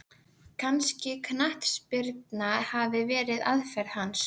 Kannski knattspyrna hafi verið aðferð hans?